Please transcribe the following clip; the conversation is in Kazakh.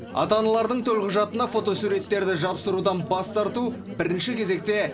ата аналардың төлқұжатына фотосуреттерді жапсырудан бас тарту бірінші кезекте